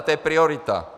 A to je priorita.